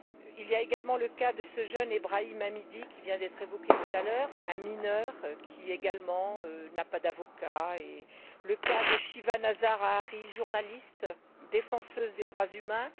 Il y a également le cas de ce jeune Ibrahim Hamidi qui vient d´être évoqué tout à l'heure, un mineur qui, lui non plus, n'a pas d'avocat, et le cas de Shiva Nazar Ahari, journaliste défenseur des droits humains.